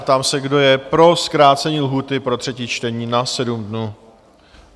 Ptám se, kdo je pro zkrácení lhůty pro třetí čtení na 7 dní?